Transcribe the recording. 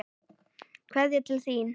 Kveðja til þín.